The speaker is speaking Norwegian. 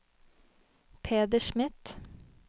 Peder Smith